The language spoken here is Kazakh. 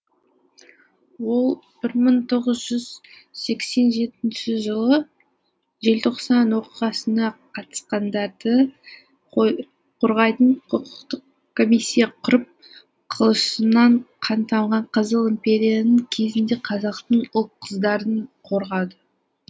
ол бір мың тоғыз жүз сексен жетінші жылы желтоқсан оқиғасына қатысқандарды қорғайтын құқықтық комиссия құрып қылышынан қан тамған қызыл империяның кезінде қазақтың ұл қыздарын қорғады